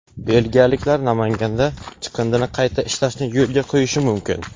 Belgiyaliklar Namanganda chiqindini qayta ishlashni yo‘lga qo‘yishi mumkin.